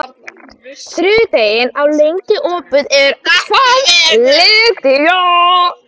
Lydia, hvað er opið lengi á þriðjudaginn?